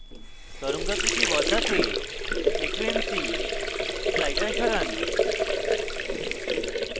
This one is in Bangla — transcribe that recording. তরঙ্গাকৃতি বদলাতে frequency slider সরান